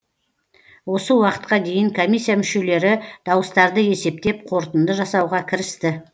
осы уақытқа дейін комиссия мүшелері дауыстарды есептеп қорытынды жасауға кірісті